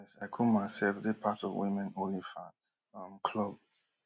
mis icumar sef dey part of women only fan um club